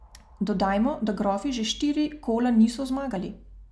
Dodajmo, da grofi že štiri kola niso zmagali.